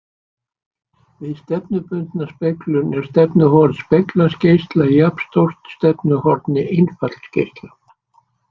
Við stefnubundna speglun er stefnuhorn speglaðs geisla jafnstórt stefnuhorni innfallsgeisla.